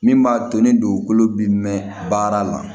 Min b'a to ni dugukolo bi mɛn baara la